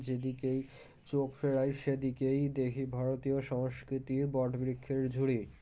যেদিকেই চোখ ফেরাই সেদিকেই দেখি ভারতীয় সংস্কৃতির বটবৃক্ষের ঝুড়ি